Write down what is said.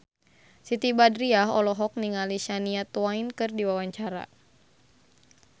Siti Badriah olohok ningali Shania Twain keur diwawancara